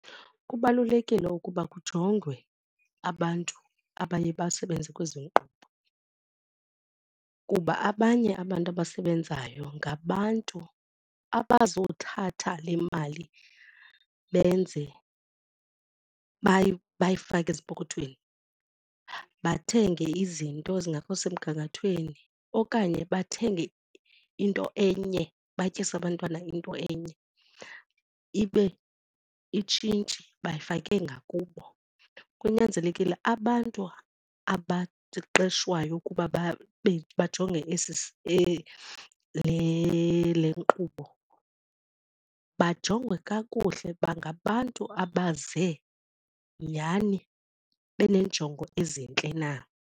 Kubalulekile ukuba kujongwe abantu abaye basebenze kwezi nkqubo kuba abanye abantu abasebenzayo ngabantu abazothatha le mali benze bayifake ezipokothweni bathenge izinto ezingekho semgangathweni okanye bathenge into enye batyise abantwana into enye ibe itshintshi bayifake ngakubo. Kunyanzelekile abantu abaqeqeshwayo ukuba bajonge le nkqubo bajongwe kakuhle uba ngabantu abaze nyani beneenjongo ezintle na.